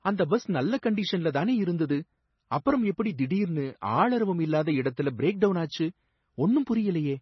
அந்த பஸ் நல்ல கண்டிஷன்ல தானே இருந்தது, அப்பறம் எப்படி திடீர்னு ஆள் அரவம் இல்லாத இடத்துல பிரேக் டவுன் ஆச்சு, ஒன்னும் புரியலயே!